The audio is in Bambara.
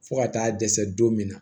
Fo ka taa dɛsɛ don min na